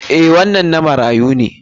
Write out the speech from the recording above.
Eh, wannan na marayu.